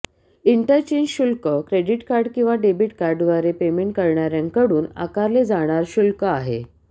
interchange शुल्क credit card किंवा debit कार्डद्वारे पेमेंट करणाऱ्यांकडून आकारले जाणार शुल्क आहे